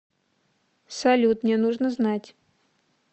салют мне нужно знать